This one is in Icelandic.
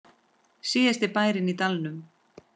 Síðasti bærinn í dalnum